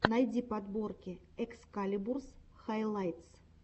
найти подборки экскалибурс хайлайтс